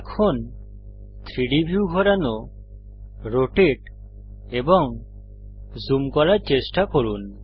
এখন 3ডি ভিউ ঘোরানো রোটেট এবং জুম করার চেষ্টা করুন